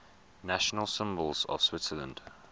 national symbols of switzerland